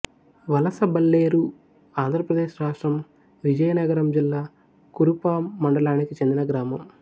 వలసబల్లేరుఆంధ్ర ప్రదేశ్ రాష్ట్రం విజయనగరం జిల్లా కురుపాం మండలానికి చెందిన గ్రామం